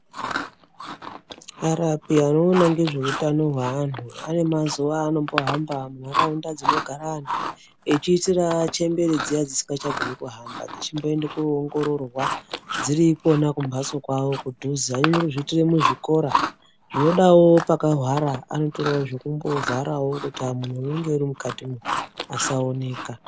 Arapi anoona ngezveutano hweantu ane mazuva anombo hamba mundaraunda dzinogara antu echiisira chembere dziyani dzisikachagoni kuhamba dzechimboongororwa dziri Kona kumbatso kwawo kudhuze, vanonyanya kuzviitire muzvikora. Zvinodawo pakahwara anotorawo zvekumbo vharawo kuitira kuti munhu anengewo ari mukati asaoneka.